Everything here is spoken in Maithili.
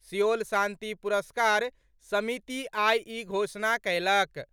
सिओल शांति पुरस्कार समिति आइ ई घोषणा कयलक।